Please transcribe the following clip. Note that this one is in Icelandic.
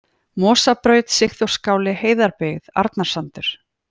Mosabraut, Sigþórsskáli, Heiðarbyggð, Arnarsandur